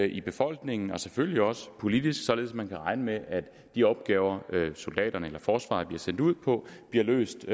i befolkningen og selvfølgelig også politisk så man kan regne med at de opgaver soldaterne eller forsvaret bliver sendt ud på bliver løst